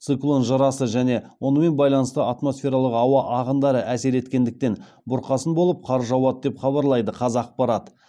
циклон жырасы және онымен байланысты атмосфералық ауа ағындары әсер еткендіктен бұрқасын болып қар жауады деп хабарлайды қазақпарат